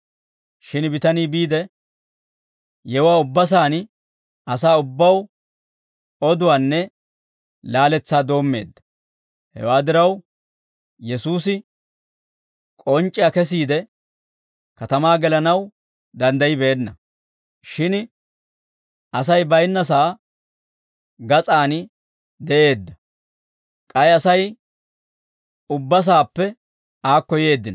Shin bitanii biide, yewuwaa ubba saan asaa ubbaw oduwaanne laaletsaa doommeedda; hewaa diraw, Yesuusi k'onc'c'iyaa kesiide, katamaa gelanaw danddayibeenna; shin Asay bayinnasaa gas'aan de'eedda; k'ay Asay ubba saappe aakko yeeddino.